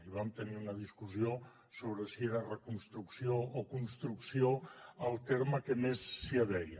i vam tenir una discussió sobre si era reconstrucció o construcció el terme que més s’hi adeia